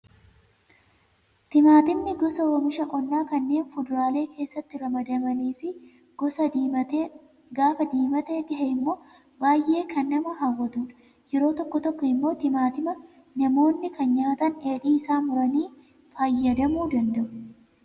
Timaatimni gosa oomisha qonnaa kanneen fuduraalee keessatti ramadamanii fi gaafa diimatee gahe immoo baay'ee kan nama hawwatudha. Yeroo tokko tokko immoo timaatima namoonni kan nyaatan dheedhii isaa muranii fayyadamuu danda'u.